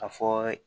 A fɔ